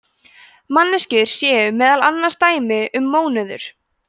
manneskjur séu meðal annars dæmi um mónöður